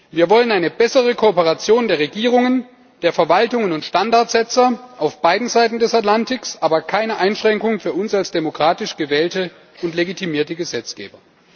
Wir wollen eine bessere Kooperation der Regierungen, der Verwaltungen und Standardsetzer auf beiden Seiten des Atlantiks, aber keine Einschränkungen für uns als demokratisch gewählte und legitimierte Gesetzgeber.